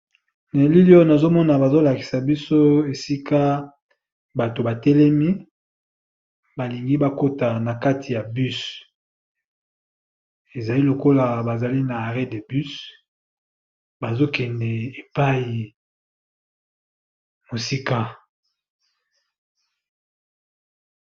Na elili Oyo Kamini baeolakisa bison batu batelemi baza n'a aret bus balemi bazozela mutual bake de esi